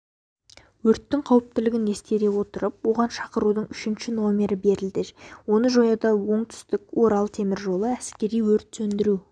өрттің қауіптілігін ескере отырып оған шақырудың үшінші номері берілді оны жоюда оңтүстік-орал темір жолы әскери-өрт сөндіру